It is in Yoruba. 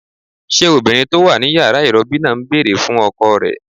Ṣé obìnrin tó wà ní yàrá ìrọbí náà ń bèrè fún ọkọ rẹ̀?